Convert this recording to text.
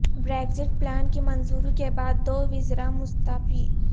Brexit plan کی منظوری کے بعد دو وزرا مستعفی